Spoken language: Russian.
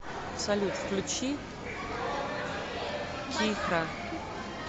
салют включи кихра